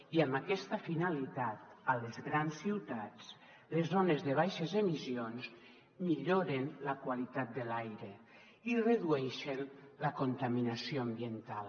i amb aquesta finalitat a les grans ciutats les zones de baixes emissions milloren la qualitat de l’aire i redueixen la contaminació ambiental